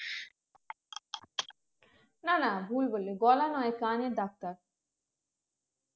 না না ভুল বললি গলা নয় কানের ডাক্তার